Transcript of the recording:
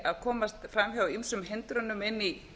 frú forseti ég vil í